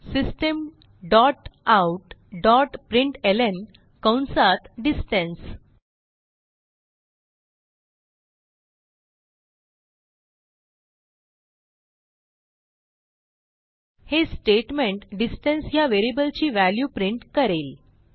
system dot out dot प्रिंटलं कंसात distance हे स्टेटमेंट डिस्टन्स ह्या व्हेरिएबलची व्हॅल्यू प्रिंट करेल